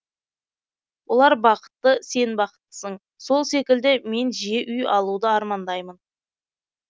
олар бақытты сен бақыттысың сол секілді мен жиі үй алуды армандаймын